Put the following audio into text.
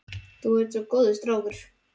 Þú ert nú svo góður strákur.